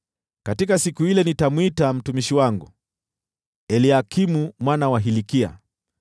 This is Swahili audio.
“Katika siku ile, nitamwita mtumishi wangu, Eliakimu mwana wa Hilkia.